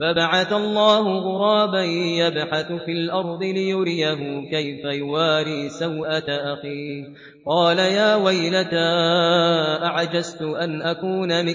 فَبَعَثَ اللَّهُ غُرَابًا يَبْحَثُ فِي الْأَرْضِ لِيُرِيَهُ كَيْفَ يُوَارِي سَوْءَةَ أَخِيهِ ۚ قَالَ يَا وَيْلَتَا أَعَجَزْتُ أَنْ أَكُونَ